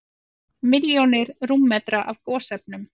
Milljón rúmmetrar af gosefnum